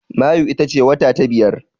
Mayu ita ce wata na biyar.